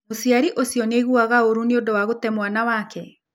Mũciari ũcio nĩ aiguaga ũũru nĩ ũndũ wa gũte mwana wake?